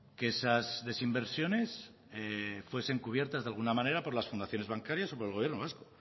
que esas desinversiones fuesen cubiertas de alguna manera por las fundaciones bancarias o por el gobierno vasco